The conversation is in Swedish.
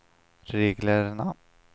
reglerna